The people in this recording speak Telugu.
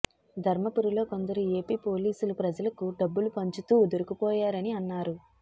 ధర్మపురిలో కొందరు ఏపీ పోలీసులు ప్రజలకు డబ్బులు పంచుతూ దొరికిపోయారని అన్నారు